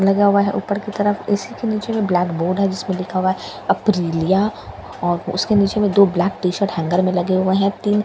लगा हुआ हैं ऊपर की तरफ ए_सी के नीचे जो ब्लैकबोर्ड है जिसमें लिखा हुआ है अपरीलिया और उसके नीचे में दो ब्लैक टीशर्ट हैंगर में लगे हुए है तीन चार हैलमेट --